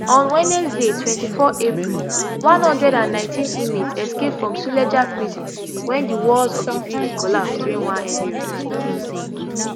on wednesday twenty-four april one hundred and nineteen inmates escape from suleja prison wen di walls of di building collapse during one heavy rainfall